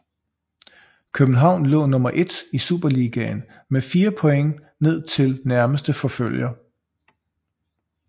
København lå nummer 1 i Superligaen med fire point ned til nærmeste forfølger